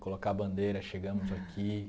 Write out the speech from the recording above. Colocar a bandeira, chegamos aqui